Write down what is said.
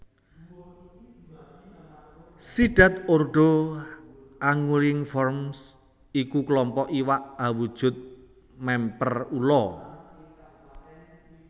Sidhat ordo Anguilliformes iku klompok iwak awujud mèmper ula